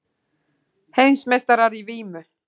Heimsmeistarar í vímu